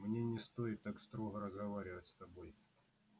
мне не стоит так строго разговаривать с тобой